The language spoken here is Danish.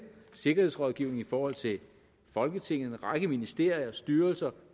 sikkerhedsrådgivning i forhold til folketinget en række ministerier styrelser